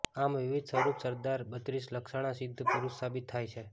આમ વિવિધ સ્વરૂપે સરદાર બત્રીસલક્ષણા સિદ્ધ પુરુષ સાબિત થાય છે